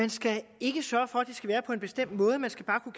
man skal ikke sørge for at det skal være på en bestemt måde man skal bare kunne